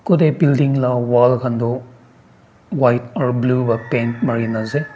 Kutae building la wall khan tuh white aro blue para paint marey nah ase.